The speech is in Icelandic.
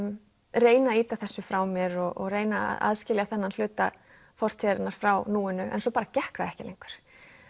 reyna að ýta þessu frá mér og reyna að aðskilja þennan hluta fortíðarinnar frá núinu en svo bara gekk það ekki lengur